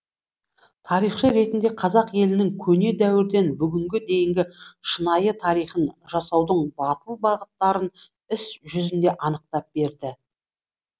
тарихшы ретінде қазақ елінің көне дәуірден бүгінге дейінгі шынайы тарихын жасаудың батыл бағыттарын іс жүзінде анықтап берді